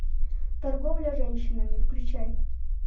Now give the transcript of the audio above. торговля женщинами включай